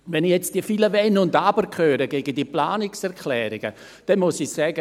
Wenn ich jetzt die vielen Wenn und Aber gegen die Planungserklärungen höre, muss ich sagen: